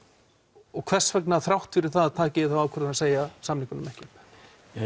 og hvers vegna þrátt fyrir það ákveðið að segja samningum ekki upp